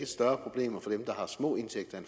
større problem for dem der har små indtægter